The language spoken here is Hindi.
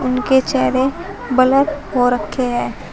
उनके चेहरे ब्लर हो रखे हैं।